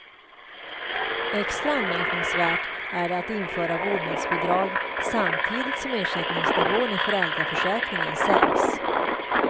Extra anmärkningsvärt är det att införa vårdnadsbidrag samtidigt som ersättningsnivån i föräldraförsäkringen sänks.